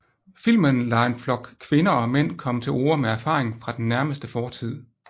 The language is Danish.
Filmen lader en flok kvinder og mænd komme til orde med erfaring fra den nærmeste fortid